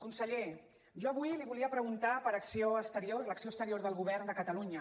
conseller jo avui li volia preguntar per acció exterior l’acció exterior del govern de catalunya